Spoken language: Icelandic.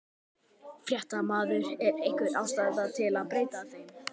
Fréttamaður: Er einhver ástæða til að breyta þeim?